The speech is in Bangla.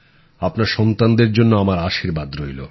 আপনার সন্তানদের জন্য আমার আশীর্বাদ রইলো